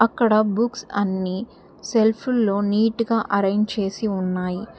అక్కడ బుక్స్ అన్ని సెల్ఫుల్లో నీట్ గా అరేంజ్ చేసి ఉన్నాయి.